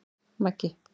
Maggi